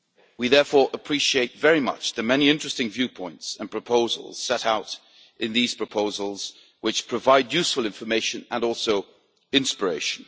We therefore appreciate very much the many interesting viewpoints and proposals set out in these proposals, which provide useful information and also inspiration.